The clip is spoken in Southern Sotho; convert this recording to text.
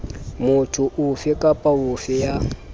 motho ofe kapa ofe ya